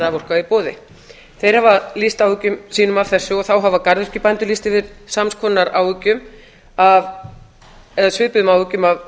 raforka í boði þeir hafa lýst yfir áhyggjum sínum af þessu og þá hafa garðyrkjubændur lýst yfir sams konar áhyggjum eða svipuðum áhyggjum af